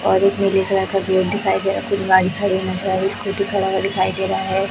और एक में दूसरे हाथ का पेड़ दिखाई दे रहा है कुछ बाइक खड़ी हुई नजर आ रही स्कूटी खड़ा हुआ दिखाई दे रहा है।